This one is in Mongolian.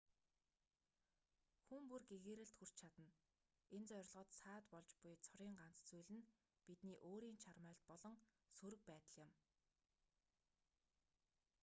хүн бүр гэгээрэлд хүрч чадна энэ зорилгод саад болж буй цорын ганц зүйл нь бидний өөрийн чармайлт болон сөрөг байдал юм